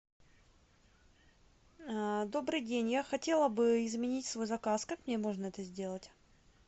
добрый день я хотела бы изменить свой заказ как мне можно это сделать